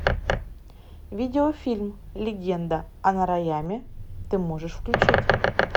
видеофильм легенда о нараяме ты можешь включить